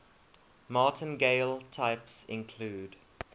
martingale types include